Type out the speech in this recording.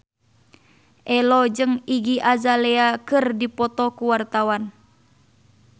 Ello jeung Iggy Azalea keur dipoto ku wartawan